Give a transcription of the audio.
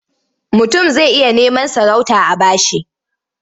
Mutum zai iya neman sarauta a ba shi.